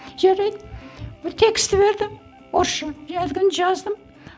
жарайды бір тексті берді орысша әлгіні жаздым